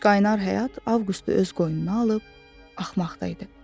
Qaynar həyat Avqustu öz qoynuna alıb axmaqda idi.